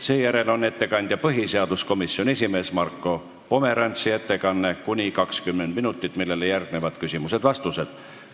Seejärel on põhiseaduskomisjoni esimehe Marko Pomerantsi ettekanne, mis kestab kuni 20 minutit, sellele järgnevad küsimused ja vastused.